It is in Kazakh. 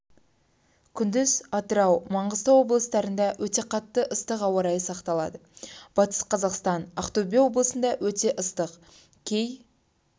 күндіз атырау маңғыстау облыстарында өте қатты ыстық ауа райы сақталады батыс-қазақстан ақтөбе облыстырында өте ыстық кей